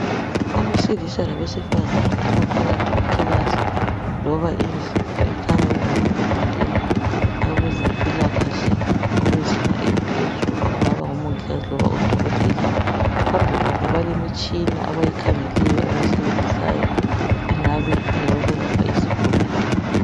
Abesilisa labesifazana abaphakathi kwekilasi loba indlu ekhanya ukuba ngeyokufundela abezempilakahle abezinga eliphezulu okungaba ngomongikazi loba odokotela phambi kwabo balemitshina abayikhangeleyo abayisebenzisayo engabe ingeyokwelapha izigulane.